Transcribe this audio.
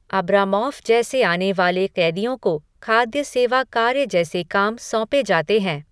Abramoff जैसे आने वाले कैदियों को खाद्य सेवा कार्य जैसे काम सौंपे जाते हैं।